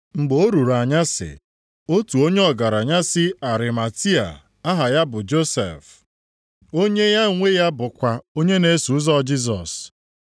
Mgbe o ruru anyasị, otu onye ọgaranya si Arimatia aha ya bụ Josef. Onye ya onwe ya bụkwa onye na-eso ụzọ Jisọs,